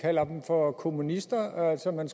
kalder dem for kommunister altså man